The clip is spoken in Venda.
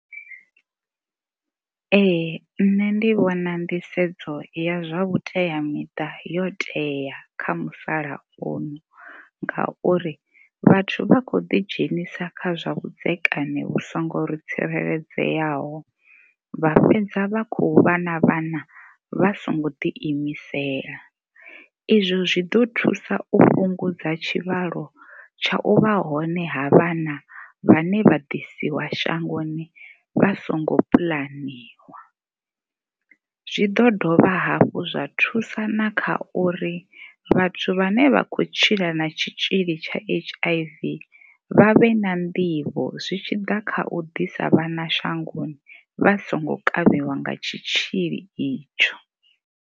Ee, nṋe ndi vhona nḓisedzo ya zwa vhuteamiṱa yo tea kha musalauno ngauri vhathu vha khou ḓi dzhenisa kha zwa vhudzekani vhu songo tsireledzeaho vha fhedza vha khou vha na vhana vha songo ḓi imisela. Izwo zwi ḓo thusa u fhungudza tshivhalo tsha u vha hone ha vhana vhane ḓasiwa shangoni vha songo puḽaniwa. Zwi ḓo dovha hafhu zwa thusa na kha uri vhathu vhane vha khou tshila na tshitzhili tsha H_I_V vha vhe na nḓivho zwi tshi ḓa kha u ḓisa vhana shangoni vha songo kavhiwa nga tshitzhili itsho.